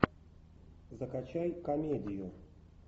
закачай комедию